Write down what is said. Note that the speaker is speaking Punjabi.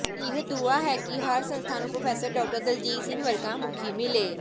ਇਹੀ ਦੁਆ ਹੈ ਕਿ ਹਰ ਸੰਸਥਾ ਨੂੰ ਪ੍ਰੋਫੈਸਰ ਡਾ ਦਲਜੀਤ ਸਿੰਘ ਵਰਗਾ ਮੁਖੀ ਮਿਲੇ